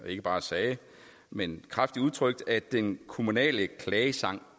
ikke bare sagde men kraftigt udtrykte at den kommunale klagesang